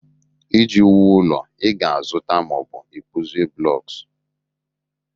Iji wuo ụlọ ị ga-azụta ma ọ bụ ịkpụzi blocks